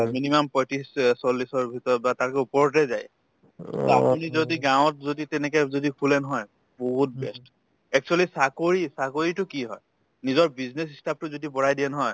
minimum পঁয়ত্ৰিশ অ চল্লিশৰ ভিতৰত বা তাতকে ওপৰতে যায় to আপুনি যদি গাঁৱত যদি তেনেকে যদি খোলে নহয় বহুত best actually চাকৰি চাকৰিতো কি হয় নিজৰ business যদি বঢ়ায় দিয়ে নহয়